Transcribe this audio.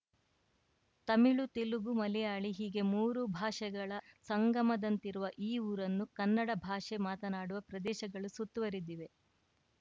ತಮಿಳು ತೆಲುಗು ಮಲಯಾಳಿ ಹೀಗೆ ಮೂರು ಭಾಷೆಗಳ ಸಂಗಮದಂತಿರುವ ಈ ಊರನ್ನು ಕನ್ನಡ ಭಾಷೆ ಮಾತನಾಡುವ ಪ್ರದೇಶಗಳು ಸುತ್ತುವರೆದಿವೆ